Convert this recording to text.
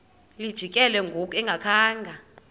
lijikile ngoku engakhanga